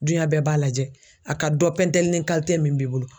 Duɲɛ bɛɛ b'a lajɛ a ka dɔ pɛntɛlinin min b'i bolo.